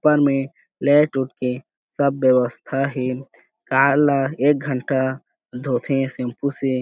ऊपर में लाइट उठ के सब वेवस्था हे कार ल एक घंटा धोथे हे सेंपू से--